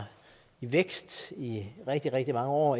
vækst i rigtig rigtig mange år